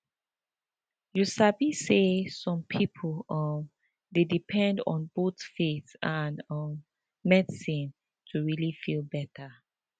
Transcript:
you sabi say some people um dey depend on both faith and um medicine to really feel better